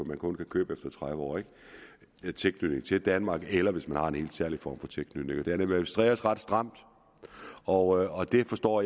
man kun kan købe efter tredive år og med tilknytning til danmark eller hvis man har en helt særlig form for tilknytning den administreres ret stramt og jeg forstår